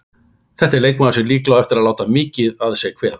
Þetta er leikmaður sem líklega á eftir að láta mikið að sér kveða.